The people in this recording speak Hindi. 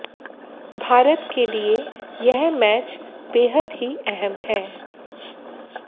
भारत के लिए यह मैच बेहद ही अहम है